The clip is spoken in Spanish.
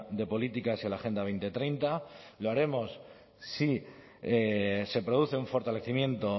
de políticas y a la agenda dos mil treinta lo haremos si se produce un fortalecimiento